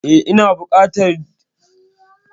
Eh ina bukatar duka ƴan daban lunguna su rakani